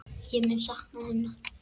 Ég mun sakna hennar.